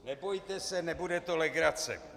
Nebojte se, nebude to legrace.